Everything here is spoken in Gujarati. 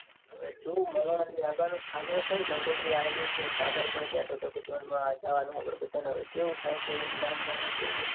હવે જોઉં. મલાણાથી આગળ કંકુતરી તો અયેલીછે. સાગર પણ કેતો હતો. કે જાન માં જવાનું છે. આપડે બધા ને હવે કેવું થાય કેવું ની રામજાને જોઈએ.